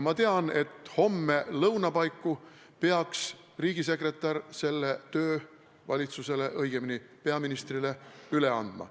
Ma tean, et homme lõuna paiku peaks riigisekretär selle töö valitsusele, õigemini peaministrile üle andma.